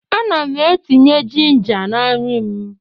Ana m etinye ginger na nri m